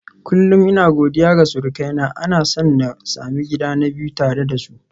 Kullum ina godiya ga surukaina, na san na sami gida na biyu tare da su.